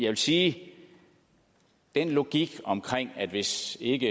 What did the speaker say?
vil sige at den logik om at hvis ikke